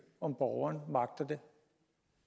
om borgeren magter det